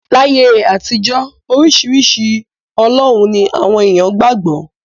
Láyé àtijọ́, oríṣiríṣi ọlọ́run ni àwọn èèyàn qgbà gbọ́.